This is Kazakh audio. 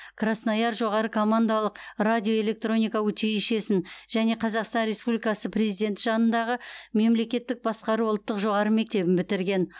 краснояр жоғары командалық радиоэлектроника училищесін және қазақстан республикасы президенті жанындағы мемлекеттік басқару ұлттық жоғары мектебін бітірген